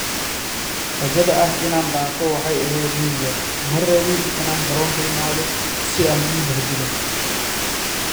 "Rajada ah inaan dhaafo waxay ahayd mid yar...Ma rabin inaan garoonka imaado si aan u i bahdilo."